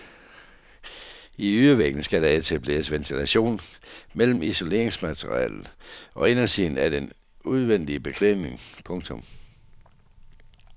I ydervæggene skal der etableres ventilation mellem isoleringsmaterialet og indersiden af den udvendige beklædning. punktum